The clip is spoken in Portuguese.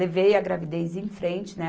Levei a gravidez em frente, né?